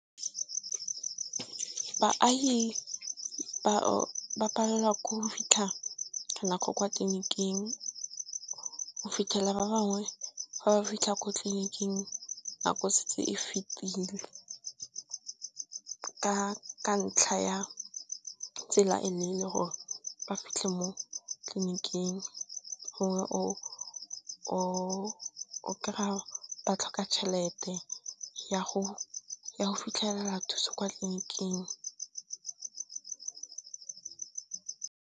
Baagi ba palelwa ke go fitlha ka nako kwa tleliniking. O fitlhela ba bangwe fa ba fitlha ko tleliniking nako setse e fetile, ka ntlha ya tsela e leele gore ba fitlhe mo tleliniking hore o kry-a ba tlhoka tšhelete ya go fitlhelela thuso kwa tleliniking.